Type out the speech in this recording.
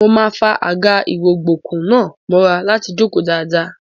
Mo máa fa àga-ìrọ̀gbọ̀kú náà mọ́ra láti jókòó dáadáa.